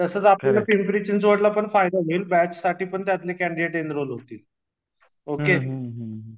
तसंच आपलं पिंपरी चिंचवडला फायदा होईल बॅचसाठी पण आपले कॅण्डीडेट एन्रॉल होतील ओके